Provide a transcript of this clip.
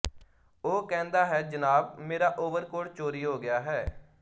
ਉਹ ਕਹਿੰਦਾ ਹੈ ਜਨਾਬ ਮੇਰਾ ਓਵਰਕੋਟ ਚੋਰੀ ਹੋ ਗਿਆ ਹੈ